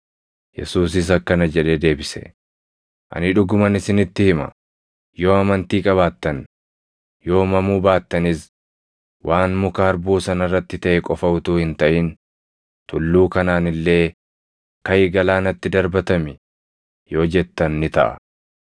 Yesuusis akkana jedhee deebise; “Ani dhuguman isinitti hima; yoo amantii qabaattan, yoo mamuu baattanis, waan muka harbuu sana irratti taʼe qofa utuu hin taʼin, tulluu kanaan illee, ‘Kaʼi! Galaanatti darbatami!’ yoo jettan ni taʼa.